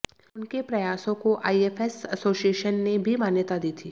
उनके प्रयासों को आईएफएस एसोसिएशन ने भी मान्यता दी थी